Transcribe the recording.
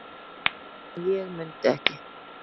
og ég mundi ekki.